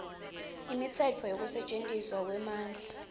imitsetfo yekusetjentiswa kwemandla